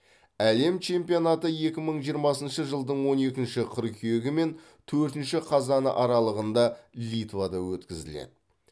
әлем чемпионаты екі мың жиырмасыншы жылдың он екінші қыркүйегі мен төртінші қазаны аралығында литвада өткізіледі